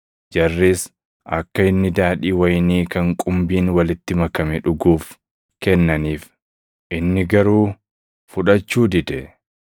Jarris akka inni daadhii wayinii kan qumbiin walitti makame dhuguuf kennaniif; inni garuu fudhachuu dide.